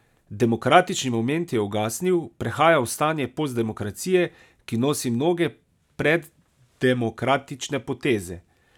Demokratični moment je ugasnil, prehaja v stanje postdemokracije, ki nosi mnoge preddemokratične poteze.